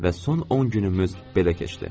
Və son 10 günümüz belə keçdi.